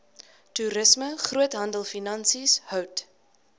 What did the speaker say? toerisme groothandelfinansies hout